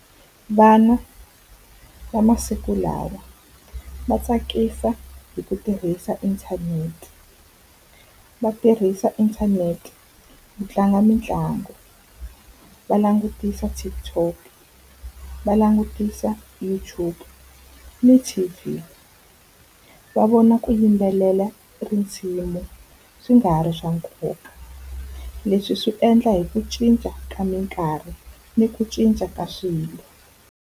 Vana va masiku lawa va tsakisa hi ku tirhisa inthanete, va tirhisa inthanete ku tlanga mitlangu. Va langutisa TikTok, va langutisa YouTube ni T_V, va vona ku yimbelela tinsimu swi nga ha ri swa nkoka. Leswi swi endla hi ku cinca ka minkarhi ni ku cinca ka swilo.